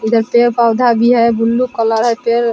उधर पेड़-पौधा भी है। ब्लू कलर है | पेड़ --